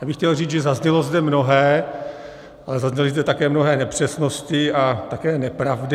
Já bych chtěl říct, že zaznělo zde mnohé, ale zazněly zde také mnohé nepřesnosti a také nepravdy.